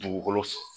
Dugukolo